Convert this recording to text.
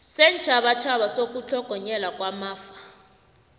seentjhabatjhaba sokutlhogonyelwa kwamafa